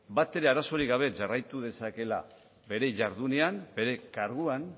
batere arazorik gabe jarraitu dezakeela bere jardunean bere karguan